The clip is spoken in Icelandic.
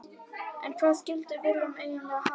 En hvað skildi Willum eiginlega hafa sagt?